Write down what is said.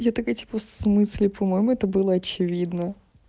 я такая в смысле по-моему это было очевидно